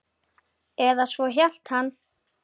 Eða svo hélt hann.